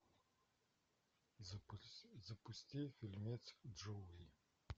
запусти фильмец джоуи